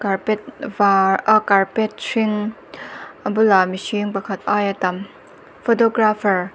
carpet var ah carpet hring a bulah mihring pakhat aia tam photographer .